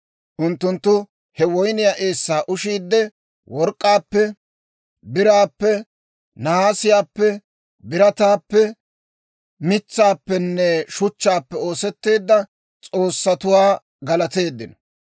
Unttunttu he woyniyaa eessaa ushiidde, work'k'aappe biraappe, nahaasiyaappe, birataappe, mitsaappenne shuchchaappe oosetteedda s'oossatuwaa galateeddino.